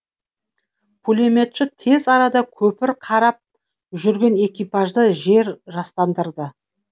пулеметші тез арада көпір қарап жүрген экипажды жер жастандырды